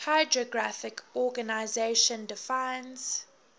hydrographic organization defines